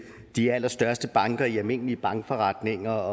de allerstørste banker i almindelig bankforretning og